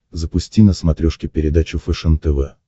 запусти на смотрешке передачу фэшен тв